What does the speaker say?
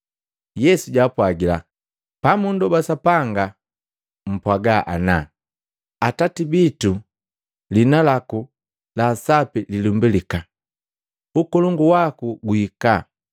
Yesu jaapwagila, “Pamundoba Sapanga mpwaaga ana, ‘Atati bitu! Lihina laku la Sapi lilumbilika, Ukolongu waku guhika.